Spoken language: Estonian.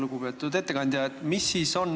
Lugupeetud ettekandja!